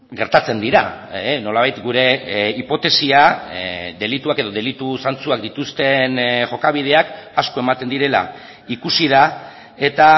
gertatzen dira nolabait gure hipotesia delituak edo delitu zantzuak dituzten jokabideak asko ematen direla ikusi da eta